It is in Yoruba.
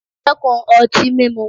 Dẹ́kun ọtí mímu!